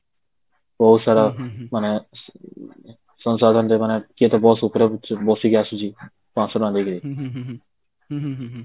ବହୁତ ସାରା ମାନେ କିଏ ତା ବସ ଉପରେ ବସିକି ଆସୁଛି ପାଆଁସ ଟଙ୍କା ଦେଇକି